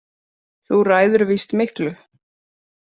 Þú ræður víst miklu.